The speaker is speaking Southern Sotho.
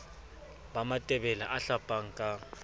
ba matebele a hlapang ka